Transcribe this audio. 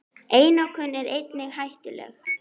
Minning þín mun ætíð lifa.